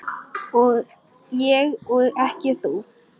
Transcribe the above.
Ég og ekki þú.